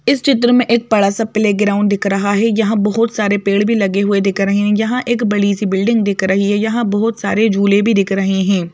इस चित्र में एक बड़ा सा प्ले ग्राउंड दिख रहा है यहां बहोत सारे पेड़ भी लगे हुए दिख रहे है यहां एक बड़ी सी बिल्डिंग दिख रही है यहां बहोत सारे झूले भी दिख रहे है।